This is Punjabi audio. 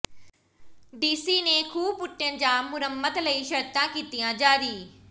ਡੀਸੀ ਨੇ ਖੂਹ ਪੁੱਟਣ ਜਾਂ ਮੁਰੰਮਤ ਲਈ ਸ਼ਰਤਾਂ ਕੀਤੀਆਂ ਜਾਰੀ